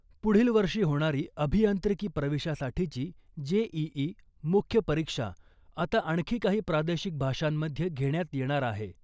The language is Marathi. पुढील वर्षी होणारी अभियांत्रिकी प्रवेशासाठीची जेईई मुख्य परीक्षा आता आणखी काही प्रादेशिक भाषांमध्ये घेण्यात येणार आहे .